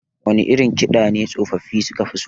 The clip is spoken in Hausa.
Wane irin kiɗa ne tsofaffafi suka fi so?